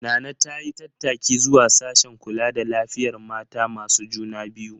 Nana ta yi tattaki zuwa sashen kula da lafiyar mata masu juna biyu.